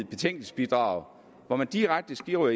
betænkningsbidrag hvor man direkte skriver